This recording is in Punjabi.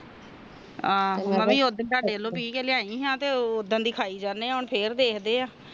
ਮੈਂ ਉਦਣ ਦਾ ਦਿਲ ਵੀ ਕੇ ਲਿਆ ਈ ਆ ਤਾ ਤੇ ਉਦਣ ਦੀ ਖਯਹਿ ਜਾਣੇ ਆ ਹੁਣ ਫੇਰ ਦੇਖਦੇ ਆ